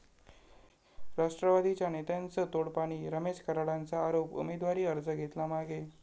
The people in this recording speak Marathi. राष्ट्रवादीच्या नेत्यांचं 'तोडपाणी', रमेश कराडांचा आरोप, उमेदवारी अर्ज घेतला मागे